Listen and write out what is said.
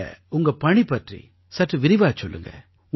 நீங்க உங்க பணி பற்றி சற்று விரிவாகச் சொல்லுங்க